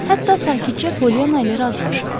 Hətta sakitcə Polyana ilə razılaşırdı.